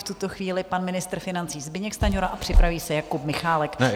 V tuto chvíli pan ministr financí Zbyněk Stanjura a připraví se Jakub Michálek.